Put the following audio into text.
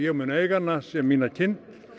mun eiga hana sem mína kind